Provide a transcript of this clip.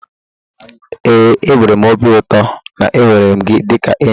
ee, enwere m obi ụtọ na m nwere gị dịka enyi